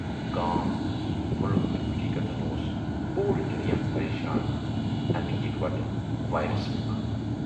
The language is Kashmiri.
گام، مُلٕک تہٕ حٔٔقیٖقَتن اوس پوٗرٕ دُنیا پَریشان اَمہِ یِکوَٹہٕ وایرَس مۄخہٕ،